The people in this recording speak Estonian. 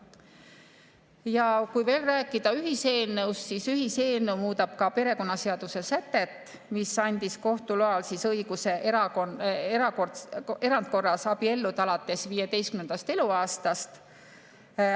Ja kui veel rääkida ühiseelnõust, siis ühiseelnõu muudab ka perekonnaseaduse sätet, mis andis kohtu loal õiguse erandkorras abielluda alates 15. eluaastast.